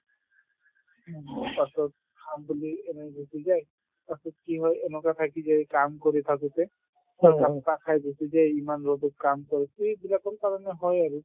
পাছত খাম বুলি এনেই গুচি যায় তাৰপিছত কি হয় এনেকৈ থাকি যায় কাম কৰি থাকোতে একাপ চাহ খাই গুচি যায় ইমান ৰদত কাম কৰে সেইবিলাকৰ কাৰণে হয় আৰু